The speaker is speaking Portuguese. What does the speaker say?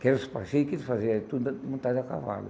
Que era os passeio que eles fazia, tudo montado a cavalo.